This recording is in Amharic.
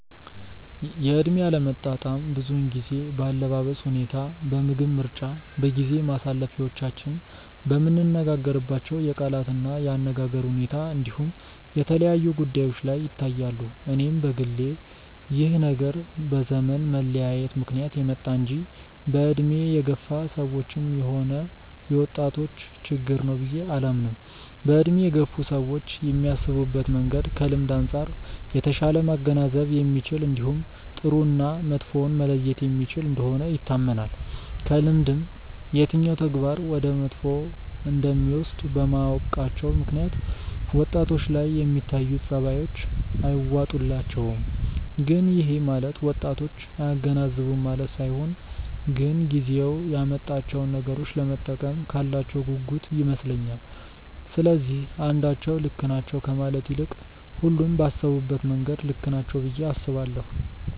የእድሜ አለመጣጣም ብዙውን ጊዜ በአለባበስ ሁኔታ፣ በምግብ ምርጫ፣ በጊዜ ማሳለፊያዎቻችን፣ በምንነጋገርባቸው የቃላት እና የአነጋገር ሁኔታ እንዲሁም የተለያዩ ጉዳዮች ላይ ይታያሉ። እኔም በግሌ ይህ ነገር በዘመን መለያየት ምክንያት የመጣ እንጂ በእድሜ የገፋ ሰዎችም ሆነ የወጣቶች ችግር ነው ብዬ አላምንም። በእድሜ የገፉ ሰዎች የሚያስቡበት መንገድ ከልምድ አንጻር የተሻለ ማገናዘብ የሚችል እንዲሁም ጥሩ እና መጥፎውን መለየት የሚችል እንደሆነ ይታመናል። ከልምድም የትኛው ተግባር ወደ መጥፎ እንደሚወስድ በማወቃቸው ምክንያት ወጣቶች ላይ የሚታዩት ጸባዮች አይዋጡላቸውም። ግን ይሄ ማለት ወጣቶች አያገናዝቡም ማለት ሳይሆን ግን ጊዜው ያመጣቸውን ነገሮች ለመጠቀም ካላቸው ጉጉት ይመስለኛል። ስለዚህ አንዳቸው ልክ ናቸው ከማለት ይልቅ ሁሉም ባሰቡበት መንገድ ልክ ናቸው ብዬ አስባለሁ።